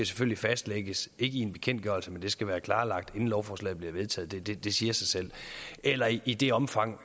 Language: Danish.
skal fastlægges i en bekendtgørelse men det skal være klarlagt inden lovforslaget bliver vedtaget det det siger sig selv eller i i det omfang